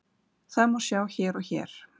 Það má sjá hér og hér.